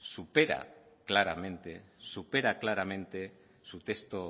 supera claramente su texto